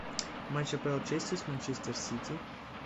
матч апл челси с манчестер сити